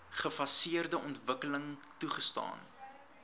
gefaseerde ontwikkeling toegestaan